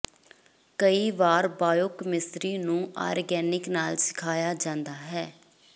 ਕਈ ਵਾਰ ਬਾਇਓਕੈਮੀਸਿਰੀ ਨੂੰ ਆਰਗੈਨਿਕ ਨਾਲ ਸਿਖਾਇਆ ਜਾਂਦਾ ਹੈ